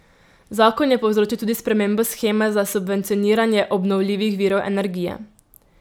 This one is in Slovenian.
Zakon je povzročil tudi spremembo sheme za subvencioniranje obnovljivih virov energije.